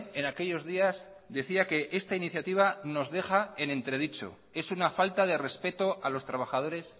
en aquellos días decía que esta iniciativa nos deja en entredicho es una falta de respeto a los trabajadores